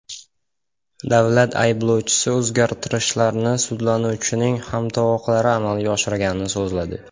Davlat ayblovchisi o‘zgartirishlarni sudlanuvchining hamtovoqlari amalga oshirganini so‘zladi.